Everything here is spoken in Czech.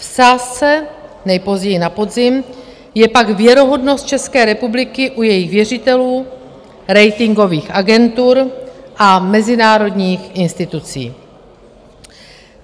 V sázce, nejpozději na podzim, je pak věrohodnost České republiky u jejích věřitelů, ratingových agentur a mezinárodních institucí.